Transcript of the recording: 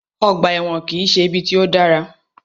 Ọgbà ẹ̀wọ̀n kìí ṣe ibi tí o dára.